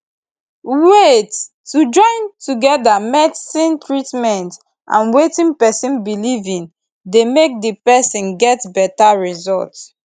wait to join together medicine treatment and wetin pesin belief in dey make di person get beta result